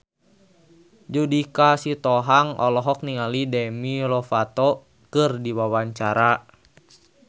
Judika Sitohang olohok ningali Demi Lovato keur diwawancara